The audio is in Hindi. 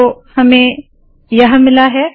तो हमें यह मिला है